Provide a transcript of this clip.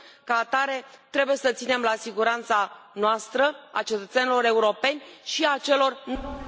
Ca atare, trebuie să ținem la siguranța noastră, a cetățenilor europeni și a celor noneuropeni.